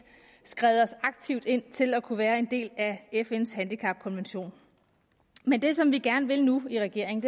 skrevet os aktivt ind til at kunne være en del af fns handicapkonvention men det som vi gerne vil nu i regeringen